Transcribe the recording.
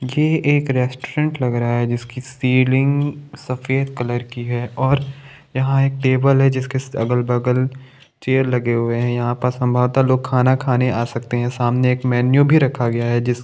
ये एक रेस्टोरेंट लग रहा है जिसकी सीलिंग सफ़ेद कलर की है और यहाँ एक टेबल है जिसके अगल बगल चेयर लगे हुए है यहाँ पर संभवता लोग खाना खाने आ सकते है सामने एक मेनू भी रखा गया है जिस--